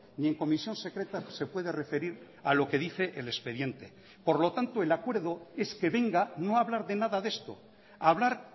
ni en comisión secreta se puede referir a lo que dice el expediente por lo tanto el acuerdo es que venga no a hablar de nada de esto a hablar